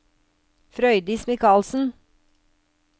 Frøydis Michaelsen